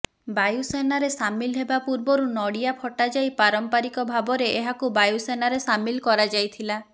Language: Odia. ବାୟୁସେନାରେ ସାମିଲ୍ ହେବା ପୂର୍ବରୁ ନଡ଼ିଆ ଫଟା ଯାଇ ପାରମ୍ପରିକ ଭାବରେ ଏହାକୁ ବାୟୁସେନାରେ ସାମିଲ୍ କରାଯାଇଥିଲା